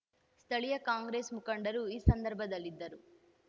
ಸ್ಥಳೀಯ ಕಾಂಗ್ರೆಸ್ ಮುಖಂಡರು ಈ ಸಂದರ್ಭದಲ್ಲಿದ್ದರು